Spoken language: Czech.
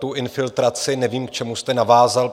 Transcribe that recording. Tu infiltraci nevím, k čemu jste navázal.